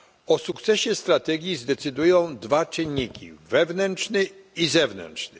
O sukcesie strategii zdecydują dwa czynniki wewnętrzny i zewnętrzny.